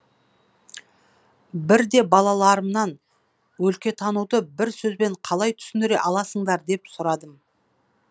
бірде балаларымнан өлкетануды бір сөзбен қалай түсіндіре аласыңдар деп сұрадым